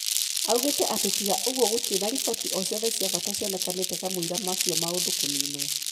Augite ati tiga ũgũo gũtĩrĩ na riboti o ciothe cia bata cionekanite kamwira macio maundu kuninwo.